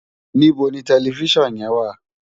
Nibó ni tèlèfisán yèn wá?